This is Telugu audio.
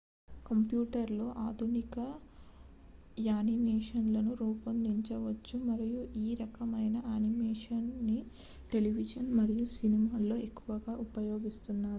కంప్యూటర్లలో ఆధునిక యానిమేషన్లను రూపొందించవచ్చు మరియు ఈ రకమైన యానిమేషన్ ని టెలివిజన్ మరియు సినిమాలలో ఎక్కువగా ఉపయోగిస్తున్నారు